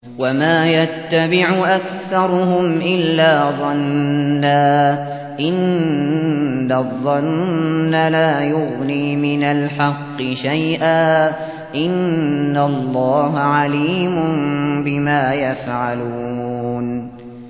وَمَا يَتَّبِعُ أَكْثَرُهُمْ إِلَّا ظَنًّا ۚ إِنَّ الظَّنَّ لَا يُغْنِي مِنَ الْحَقِّ شَيْئًا ۚ إِنَّ اللَّهَ عَلِيمٌ بِمَا يَفْعَلُونَ